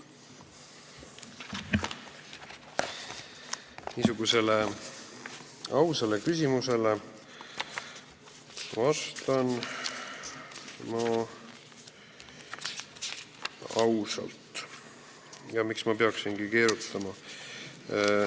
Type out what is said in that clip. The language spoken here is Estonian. Niisugusele ausale küsimusele vastan ma ausalt – miks ma peaksingi keerutama.